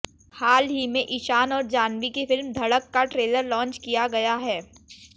हाल ही में ईशान और जाह्नवी की फिल्म धड़का का ट्रेलर लॉन्च किया गया है